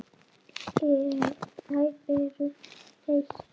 Þær eru eitt.